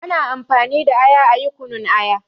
Ana amfani da aya ayi kunun aya